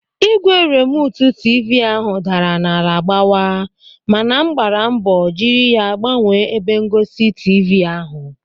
Ígwè rimotu tiivii ahụ daara n'ala gbawa mana m gbara mbọ jiri ya gbanwee ebe ngosi tiivii ahụ.